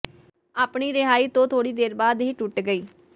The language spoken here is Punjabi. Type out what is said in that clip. ਆਪਣੀ ਰਿਹਾਈ ਤੋਂ ਥੋੜ੍ਹੀ ਦੇਰ ਬਾਅਦ ਇਹ ਟੁੱਟ ਗਈ